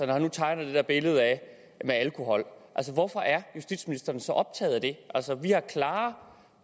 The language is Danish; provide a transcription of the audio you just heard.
når han nu tegner det der billede af det med alkohol hvorfor er justitsministeren så optaget af det altså vi har klare